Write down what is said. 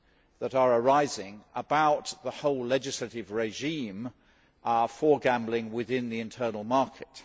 that are arising about the whole legislative regime for gambling within the internal market.